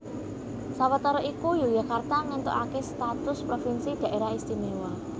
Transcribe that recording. Sawetara iku Yogyakarta ngéntukaké status provinsi Dhaerah Istimewa